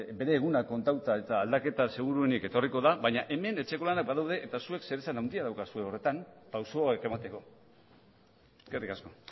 bere egunak kontatuta eta aldaketa seguruenik etorriko da baina hemen etxeko lanak badaude eta zuek zeresan handia daukazue horretan pausoak emateko eskerrik asko